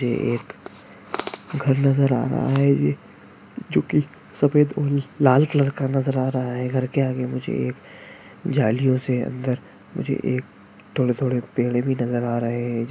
ये एक घर लग रहा है ये जो की सफ़ेद और लाल कलर का नज़र आ रहा है घर के आगे मुझे एक जालीयों से अंदर मुझे एक थोड़े- थोड़े पेड़ भी नज़र आ रहे हैं ।